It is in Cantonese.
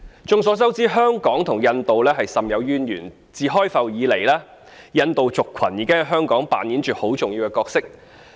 眾所周知，香港與印度甚有淵源，自開埠以來，印度族群已在香港擔當着很重要的角色。